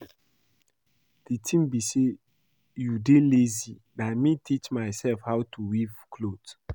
The thing be say you dey lazy, na me teach myself how to weave cloth